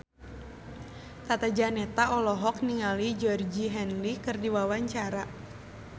Tata Janeta olohok ningali Georgie Henley keur diwawancara